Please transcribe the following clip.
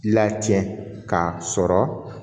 Lacɛn k'a sɔrɔ